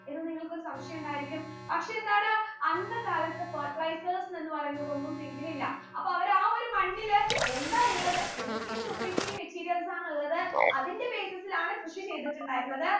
ഇത് നിങ്ങൾക്ക് ഒരു സംശയം ഉണ്ടായിരിക്കും പക്ഷെ എന്താണ് അന്ത കാലത്ത് fertilizers എന്ന് പറയുന്നതൊന്നും think ൽ ഇല്ല അപ്പൊ അവർ ആ ഒരു മണ്ണിൽ എന്താ ഉള്ളത് എന്തൊക്കെ nutritive materials ആണ് ഉള്ളത് അതിന്റെ basis ലാണ് കൃഷി ചെയ്തിട്ടുണ്ടായിരുന്നത്